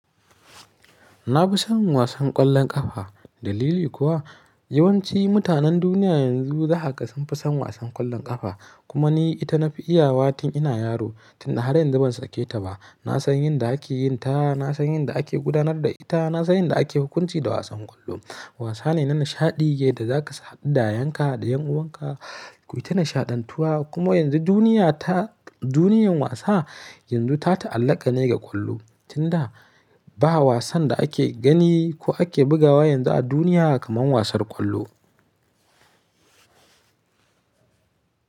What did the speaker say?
Na fi son wasan ƙwallon ƙafa. Dalili kuwa yawanci mutanen duniya yanzu zakaga sunfi son wasan ƙwallon ƙafa. Kuma ni ita na fi iya wa tun ina yaro, tun da har yanzu ban sake ta ba. Na san yin da ake yin ta, na san yin da ake gudanar da ita, na san yin da ake hukunci da wasan ƙwallo. Wasa ne na nishaɗi da zaka saba da yanka da ƴan uwanka. Ku yi ta nishaɗantuwa kuma yanzu duniya ta duniyar wasa yanzu ta ta'allaka ne ga ƙwallo. Tun da ba wasan da ake gani ko ake bugawa yanzu a duniya kamar wasar ƙwallo.